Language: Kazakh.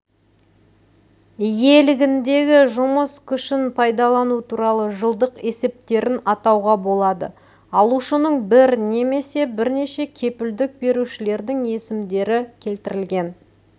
иелігіндегі жұмыс күшін пайдалану туралы жылдық есептерін атауға болады алушының бір немесе бірнеше кепілдік берушілердің есімдері келтірілген